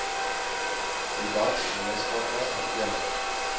hoedat gemeenskappe herenig